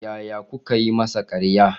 Yaya kuka yi masa karya?